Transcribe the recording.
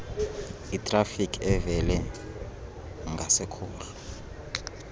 itrafiki evele ngasekhohlo